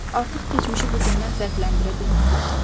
Artıq keçmişi bu gündən fərqləndirə bilmirdi.